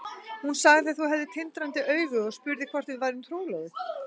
Hún sagði að þú hefðir tindrandi augu og spurði hvort við værum trúlofuð.